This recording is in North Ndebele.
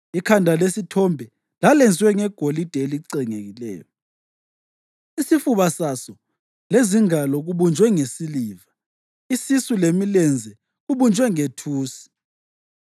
Ikhanda lesithombe lalenziwe ngegolide elicengekileyo, isifuba saso lezingalo kubunjwe ngesiliva, isisu lemilenze kubunjwe ngethusi,